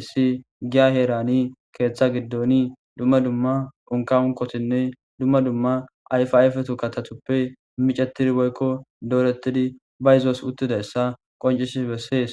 issi giya herani keeththa giddoni dumma dumma unka unkotinne dumma dumma ayfi ayfetu katatuppe micetidi boykko doorettidi ba izoos uttidayssa qoncisi bessees